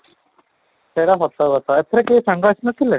ସେଇଟା ସତ କଥା ଏଥର କେହି ସାଙ୍ଗ ଆସିନଥିଲେ?